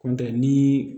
Kɔntɛ ni